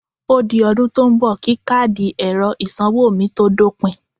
Ó di ọdún tó ń bọ̀ kí káàdì ẹ̀rọ ìsanwó mi tó dópin